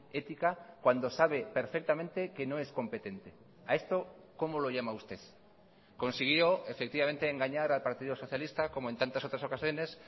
ética cuando sabe perfectamente que no es competente a esto como lo llama usted consiguió efectivamente engañar al partido socialista como en tantas otras ocasiones